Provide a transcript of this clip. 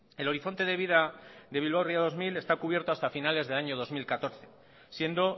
el horizonte de vida de bilbao ría dos mil está cubierto hasta finales del año dos mil catorce siendo